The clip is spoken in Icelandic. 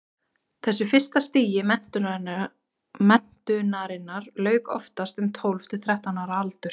þessu fyrsta stigi menntunarinnar lauk oftast um tólf til þrettán ára aldur